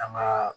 An ka